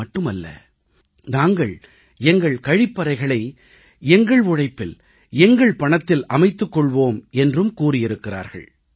இது மட்டுமல்ல நாங்கள் எங்கள் கழிப்பறைகளை எங்கள் உழைப்பில் எங்கள் பணத்தில் அமைத்துக் கொள்வோம் என்றும் கூறியிருக்கிறார்கள்